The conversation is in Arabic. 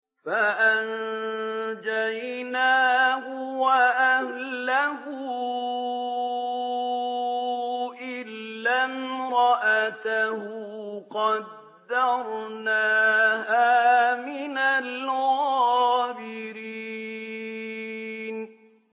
فَأَنجَيْنَاهُ وَأَهْلَهُ إِلَّا امْرَأَتَهُ قَدَّرْنَاهَا مِنَ الْغَابِرِينَ